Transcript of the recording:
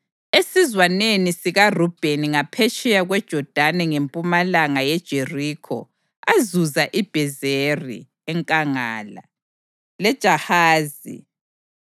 esizwaneni sikaRubheni ngaphetsheya kweJodani ngempumalanga yeJerikho azuza iBhezeri enkangala, leJahazi,